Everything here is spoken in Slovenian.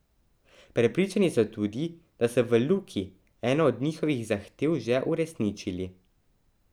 Prepričani so tudi, da so v Luki eno od njihovih zahtev že uresničili.